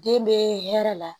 Den bɛ hɛrɛ la